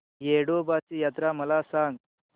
येडोबाची यात्रा मला सांग